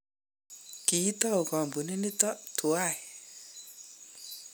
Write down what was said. kiitou kampunit nito tuwai